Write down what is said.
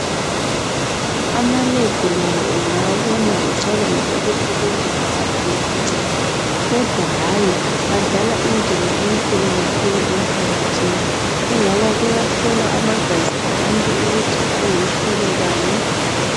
Ama "Lab" la ungawabona ucabange ukuthi kumbe awalalo uncedo, kodwa hayi adlala indima enkulu kakhulu emphakathini, kungoba kuyahlolwa amagazi abantu ukuthi angumhlobo bani.